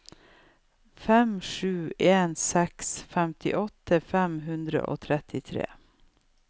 fem sju en seks femtiåtte fem hundre og trettitre